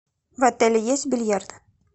в отеле есть бильярд